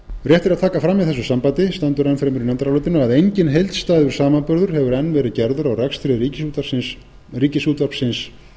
er að taka fram í þessu sambandi stendur enn fremur í nefndarálitinu að enginn heildstæður samanburður hefur enn verið gerður á rekstri ríkisútvarpsins